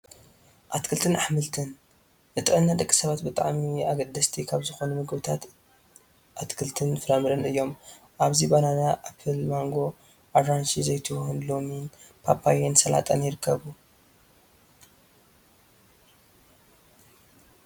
ኣትክልትን ኣሕምልትን፡- ንጥዕና ደቂ ሰባት ብጣዕሚ ኣገደስቲ ካብ ዝኾኑ ምግብታት ኣትክልትን ፍራምረን እዮም፡፡ ኣብዚ ባናና፣ ኣኘል ማንጎ፣ ኣራንሺ፣ ዘይትሁን፣ ለሚን፣ ፓፓያን ሰላጣን ይርከቡ፡፡